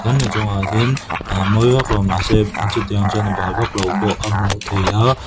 tin a chungah hian aa mawi vak lo mah se chutiang chuan bal vak lo pawh a hmuh theih a--